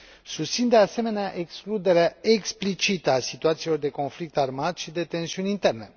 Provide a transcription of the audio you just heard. Susțin, de asemenea, excluderea explicită a situațiilor de conflict armat și de tensiuni interne.